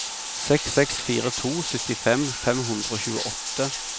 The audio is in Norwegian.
seks seks fire to syttifem fem hundre og tjueåtte